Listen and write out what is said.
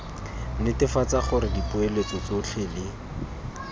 netefatsa gore dipoeletso tsotlhe le